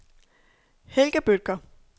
Helga Bødker